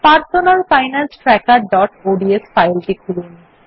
personal finance trackerঅডস ফাইলটি খুলুন